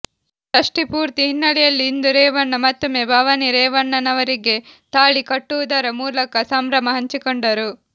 ಷಷ್ಠಿಪೂರ್ತಿ ಹಿನ್ನೆಲೆಯಲ್ಲಿ ಇಂದು ರೇವಣ್ಣ ಮತ್ತೊಮ್ಮೆ ಭವಾನಿ ರೇವಣ್ಣನವರಿಗೆ ತಾಳಿ ಕಟ್ಟುವುದರ ಮೂಲಕ ಸಂಭ್ರಮ ಹಂಚಿಕೊಂಡರು